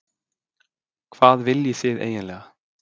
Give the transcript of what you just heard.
Hvað viljið þið eiginlega?